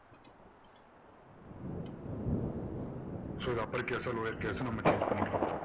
so இதை upper case ஆ lower case ஆ நம்ம change பண்ணிக்கலாம்.